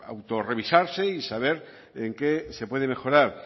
autorevisarse y saber en qué se puede mejorar